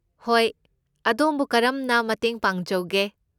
ꯍꯣꯏ, ꯑꯗꯣꯝꯕꯨ ꯀꯔꯝꯅ ꯃꯇꯦꯡ ꯄꯥꯡꯖꯧꯒꯦ?